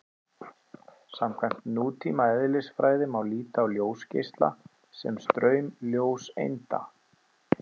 Samkvæmt nútíma eðlisfræði má líta á ljósgeisla sem straum ljóseinda.